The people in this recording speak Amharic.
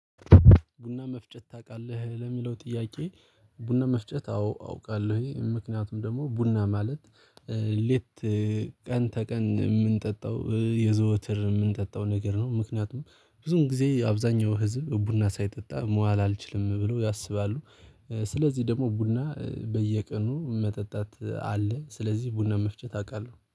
ቡና መፍጨት ታውቃለህ ለሚለው ጥያቄ? ቡና መፍጨት አዎ አውቃለሁኝ ምክንያቱም ደግሞ ቡና ማለት ሌት ቀን ተቀን የምንጠጣው የዘወትር የምንጠጣው ነገር ነው። ምክንያቱም ብዙውን ጊዜ አብዛኛው ህዝብ ቡና ሳይጠጣ መዋል አልችልም ብለው ያስባሉ። ስለዚህ ደግሞ ቡና በየቀኑ መጠጣት አለ ስለዚህ ቡና መፍጨት አውቃለሁ